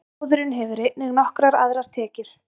Sjóðurinn hefur einnig nokkrar aðrar tekjur.